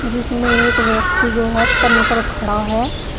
जिसमें एक व्यक्ति जो है तनकर खड़ा है।